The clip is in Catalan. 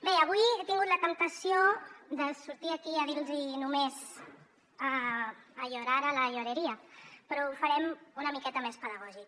bé avui he tingut la temptació de sortir aquí a dir los hi només a llorar a la llorería però ho farem una miqueta més pedagògic